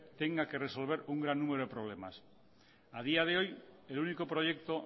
tenga que resolver un gran número de problemas a día de hoy el único proyecto